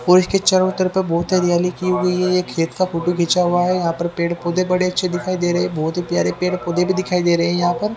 और इसके चारों तरफ बहोत हरियाली की हुई है ये खेत का फोटो खींचा हुआ है यहां पर पेड़ पौधे बड़े अच्छे दिखाई दे रहे हैं बहोत ही प्यारे प्यारे पेड़ पौधे भी दिखाई दे रहे हैं यहां पर।